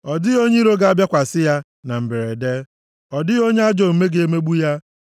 Ọ dịghị onye iro ga-abịakwasị ya, na mberede; ọ dịghị onye ajọ omume ga-emegbu ya.